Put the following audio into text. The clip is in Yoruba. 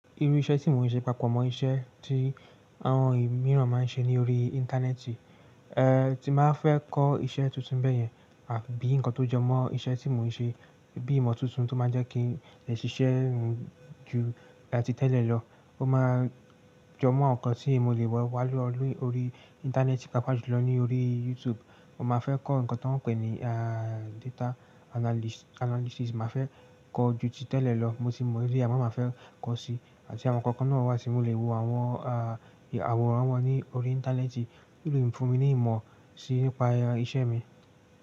Irú iṣẹ́ tí mò ń ṣe papọ̀ mọ́ iṣẹ́ tí àwọn ìmíràn máa ń ṣe ní orí Íńtánẹ́ẹ̀tì, tí bá fẹ́ kọ́ iṣẹ́ tuntun bẹ́yẹn àbí nǹkan tó jọmọ́ iṣẹ́ tí mò ń ṣe bíi ìmọ̀ tuntun tó máa jẹ́ kí lẹ̀ṣiṣẹ́ mi ju áti tẹ́lẹ̀ lọ. Ó máa jọmọ́ ǹkan tí mo lè wọ̀ wá lọ lórí Íńtánẹ́ẹ̀tì papọ̀ jùlọ ní orí YouTube. Mo máa fẹ́ kọ́ nǹkan tí wọ́n ń pè ní, data analys- analysis. Mà a fẹ́ kọ́ ju títẹ́lẹ̀ lọ, mo sì mọ̀ rí àmó máa fẹ́ kọ́ si. Àti àwọn ǹkan kan náà wà tí mo lè wo àwọn, àwòrán wọn ní orí Íńtánẹ́ẹ̀tì tí ó lè fún mi ní ìmọ̀ si nípa iṣẹ́ mi.